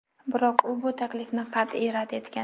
Biroq u bu taklifni qat’iy rad etgan.